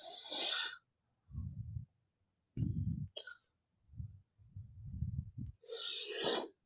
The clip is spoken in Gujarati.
ઉહ